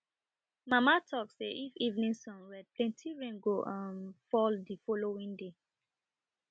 mama talk say if evening sun red plenty rain go um fall de following day